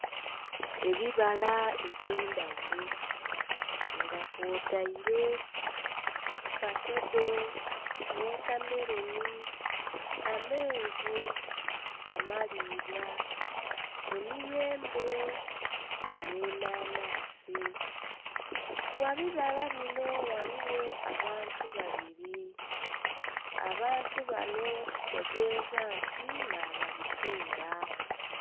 Ebibala ebye ndhaghulo nga kwotaire fakedo, wotameroni amenvu, amalibwa, emiyembe ne'nanansi. Gha bibala binon ghaligho abantu babiri abantu banho kitegeza nti na babitunda.